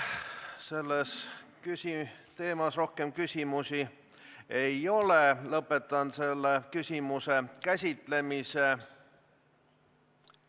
Sellel teemal rohkem küsimusi ei ole, lõpetan selle küsimuse käsitlemise.